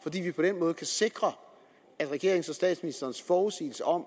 fordi vi på den måde kan sikre at regeringens og statsministerens forudsigelser om